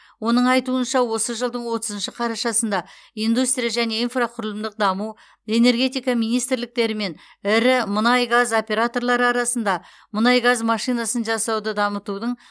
оның айтуынша осы жылдың отызыншы қарашасында индустрия және инфрақұрылымдық даму энергетика министрліктері мен ірі мұнай газ операторлары арасында мұнай газ машинасын жасауды дамытудың